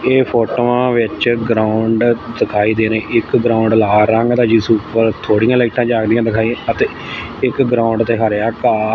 ਇਹ ਫੋਟੋਆਂ ਵਿੱਚ ਗਰਾਊਂਡ ਦਿਖਾਈ ਦੇਣੀ ਇੱਕ ਗਰਾਊਂਡ ਲਾਲ ਰੰਗ ਦਾ ਜਿਸ ਉਪਰ ਥੋੜੀਆਂ ਲਾਈਟਾਂ ਜਾਗਦੀਆਂ ਦਿਖਾਈ ਅਤੇ ਇੱਕ ਗਰਾਊਂਡ ਤੇ ਹਰਿਆ ਘਾਹ--